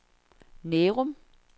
Nærum